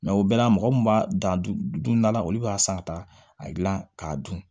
o bɛɛ la mɔgɔ min b'a dan don da la olu b'a san ka taa a dilan k'a dun